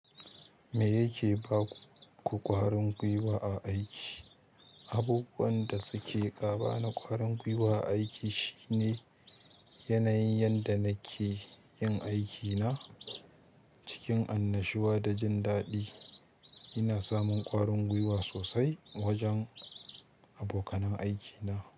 Me yake ba ku ƙwarin gwiwa a aiki? Abubuwan da suke gaba na ƙwarin gwiwa a aiki shine yanayin yadda nake yin aikina cikin annashuwa da jin daɗi. Ina samun ƙwarin gwiwa sosai wajen abokanan aikina.